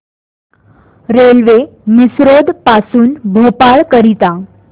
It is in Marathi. रेल्वे मिसरोद पासून भोपाळ करीता